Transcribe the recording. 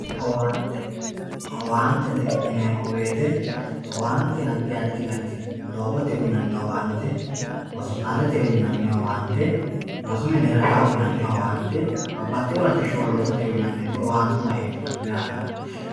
Owaante owaantete yineemo woyite owaante adi adi garit no doogote uyinani owaante hosipitalete uyinani owaante rosu mini ragaa uyinani owaante babaxewo latisha loosate uyinani owaantuwa hedhano yaate.